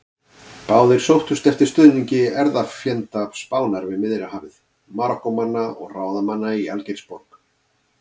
Báðir aðilar sóttust eftir stuðningi erfðafjenda Spánar við Miðjarðarhafið: Marokkómanna og ráðamanna í Algeirsborg.